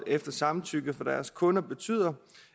efter samtykke fra deres kunder betyder